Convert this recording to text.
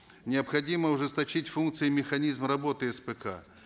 необходимо ужесточить функции механизма работы спк